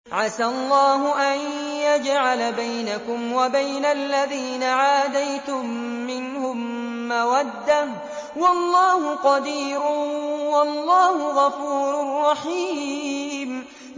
۞ عَسَى اللَّهُ أَن يَجْعَلَ بَيْنَكُمْ وَبَيْنَ الَّذِينَ عَادَيْتُم مِّنْهُم مَّوَدَّةً ۚ وَاللَّهُ قَدِيرٌ ۚ وَاللَّهُ غَفُورٌ رَّحِيمٌ